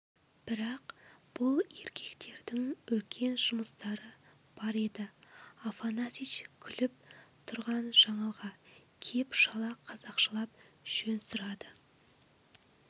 бірақ бұл еркектердің үлкен жұмыстары бар еді афанасьич күліп тұрған жаңылға кеп шала қазақшалап жөн сұрады